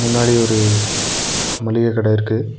முன்னாடி ஒரு மளிக கட இருக்கு.